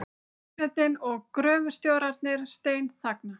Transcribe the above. Forsetinn og gröfustjórarnir steinþagna.